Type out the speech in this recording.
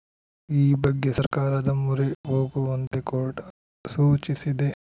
ಈ ಬಗ್ಗೆ ಸರ್ಕಾರದ ಮೊರೆ ಹೋಗುವಂತೆ ಕೋರ್ಟ್‌ ಸೂಚಿಸಿದೆ